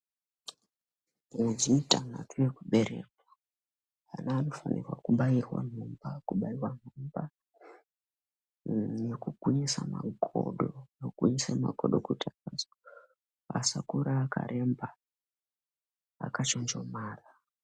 Mwedzi mutantatu yekuberekwa vana vanofanira kubairwa ntomba kubairwa ntumba nekugwinyisa makodo nekuisa makodo kuti akwanise asakura akaremba akachonjomara.